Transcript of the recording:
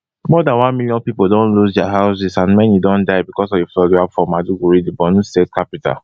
more dan one million pipo don lose dia houses and many don die becos of di flood wey happun for maiduguri di borno state capital